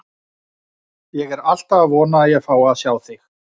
Hvers vegna gerðirðu þetta Ísbjörg, segir hann og lýtur niður að mér.